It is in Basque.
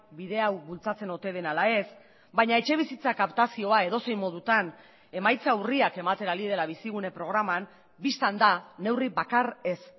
bide hau bultzatzen ote den ala ez baina etxebizitza kaptazioa edozein modutan emaitza urriak ematen ari dela bizigune programan bistan da neurri bakar ez